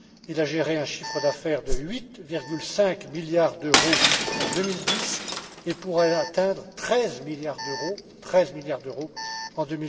Il a généré un chiffre d'affaires de 8,5 milliards d'euros en 2010 et pourrait atteindre 13 milliards d'euros en